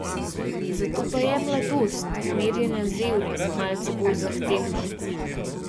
Zato pa je mladost, merjena z evri, malce bolj zahtevna.